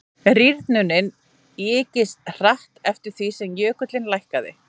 rýrnunin ykist hratt eftir því sem jökullinn lækkaði